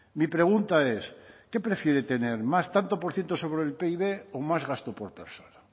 mi pregunta es qué prefiere tener más tanto por ciento sobre el pib o más gasto por persona